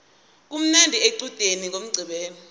kumnandi equdeni ngomqqibelo